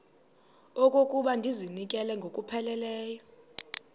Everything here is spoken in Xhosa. okokuba ndizinikele ngokupheleleyo